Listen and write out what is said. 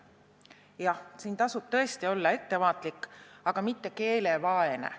Jah, siin tasub tõesti olla ettevaatlik, aga mitte keelevaene.